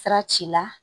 Sira ci la